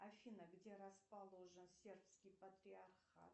афина где расположен сербский патриархат